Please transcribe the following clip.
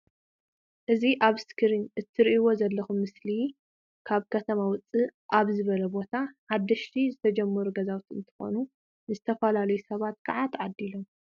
እዚ ኣብ እስክሪን እትሪኢዎ ዘለኩም ምስሊ ካብ ከተማ ዉፅእ ኣብ ዝበለ ቦታ ሓደሽቲ ዝተጀመሩ ገዛዊቲ እንትኮኑ ንዝተፈላለዩ ሰባት ከዓ ተዓዲሎም